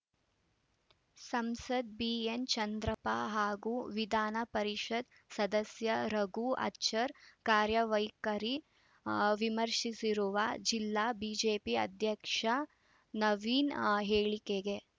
ಸಂಸದ ಬಿಎನ್‌ ಚಂದ್ರಪ್ಪ ಹಾಗೂ ವಿಧಾನ ಪರಿಷತ್‌ ಸದಸ್ಯ ರಘು ಆಚಾರ್‌ ಕಾರ್ಯವೈಖರಿ ವಿಮರ್ಶಿಸಿರುವ ಜಿಲ್ಲಾ ಬಿಜೆಪಿ ಅಧ್ಯಕ್ಷ ನವೀನ್‌ ಹೇಳಿಕೆಗೆ